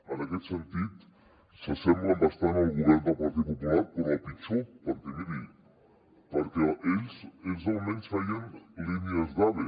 en aquest sentit s’assemblen bastant al govern del partit popular però a pitjor perquè miri ells almenys feien línies d’ave